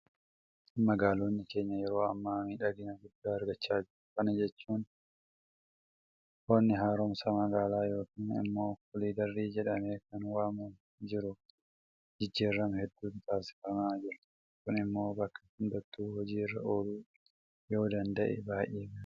Magaalonni keenya yeroo ammaa miidhagina guddaa argachaa jiru. Kana jechuun honii haaromsa magaalaa yookiin immoo koliidarii jedhamee kan waamamaa jiruun jijjiirama hedduutu taasifamaa jira. Kun immoo bakka hundattuu hojii irra ooluu yoodanda'e baay'ee gaariidha.